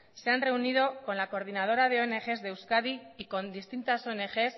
se han reunido con la coordinadora de ongs de euskadi y con distintas ongs